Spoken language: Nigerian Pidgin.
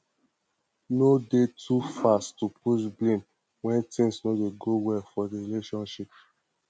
no de too fast to push blame when things no dey go well for di relationship